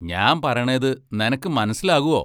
ഞാമ്പറേണത് നെനക്ക് മനസ്സിലാകുവോ?